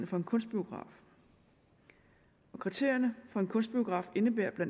for en kunstbiograf kriterierne for en kunstbiograf indebærer bla